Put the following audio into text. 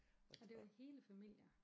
Og det var hele familier?